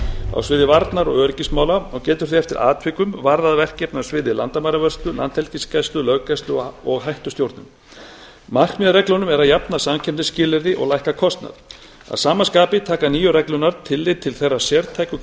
á sviði varnar og öryggismála og getur því eftir atvikum varðað verkefni á sviði landamæravörslu landhelgisgæslu löggæslu og hættustjórnun markmið með reglunum er að jafna samkeppnisskilyrði og lækka kostnað að sama skapi taka nýju reglurnar tillit til þeirra sértæku